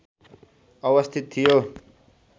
अवस्थित थियो